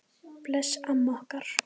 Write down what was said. Bless amma okkar.